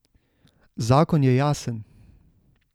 Zakon je jasen.